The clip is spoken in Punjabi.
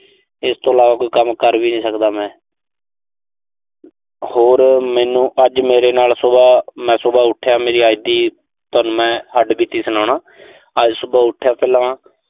ਇਸ ਤੋਂ ਇਲਾਵਾ ਕੋਈ ਕੰਮ ਕਰ ਵੀ ਨੀਂ ਸਕਦਾ ਮੈਂ। ਹੋਰ ਮੈਨੂੰ, ਅੱਜ ਮੇਰੇ ਨਾਲ ਸੁਬਾਹ, ਮੈਂ ਸੁਬਾਹ ਉਠਿਆ, ਮੇਰੀ ਅੱਜ ਦੀ ਤੁਹਾਨੂੰ ਮੈਂ ਹੱਡਬੀਤੀ ਸੁਣਾਉਣਾ। ਅੱਜ ਸੁਬਾਹ ਉਠਿਆ ਪਹਿਲਾਂ।